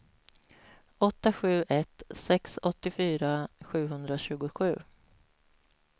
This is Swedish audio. åtta sju ett sex åttiofyra sjuhundratjugosju